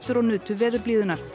og nutu veðurblíðunnar